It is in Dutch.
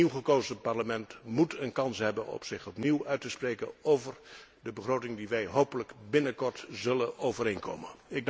Het nieuwgekozen Parlement moet een kans hebben om zich opnieuw uit te spreken over de begroting die wij hopelijk binnenkort zullen overeenkomen.